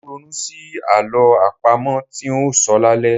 Mò ń ronú sí àlọ́ àpamọ tí ń óò sọ lálẹ́.